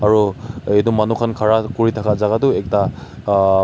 Aro etu manu khan khara kuri thaka jaka tuh ekta umm--